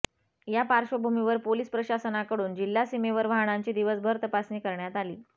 या पाशचर्वभूमीवर पोलिस प्रशासनाकडून जिल्हा सीमेवर वाहनांची दिवसभर तपासणी करण्यात आली